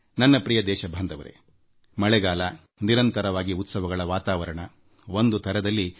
ನನ್ನ ನಲ್ಮೆಯ ದೇಶವಾಸಿಗಳೇ ನಾನು ಮತ್ತೊಮ್ಮೆ ನಿರಂತರವಾದ ಉತ್ಸವಗಳ ವಾತಾವರಣದಮುಂಗಾರಿನ ಬಗ್ಗೆ ಪ್ರಸ್ತಾಪ ಮಾಡುತ್ತೇನೆ